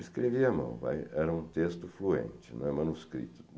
Escrevi à mão, era um texto fluente, não é manuscrito.